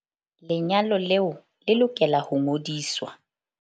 Lenyalo leo le lokela ho ngodiswa.